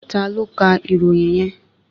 Ta ló kà ìròyìn yẹn?